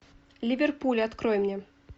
ливерпуль открой мне